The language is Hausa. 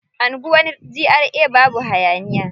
Anguwar GRA babu hayaniya.